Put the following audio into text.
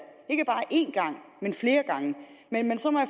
ikke bare en gang men flere gange men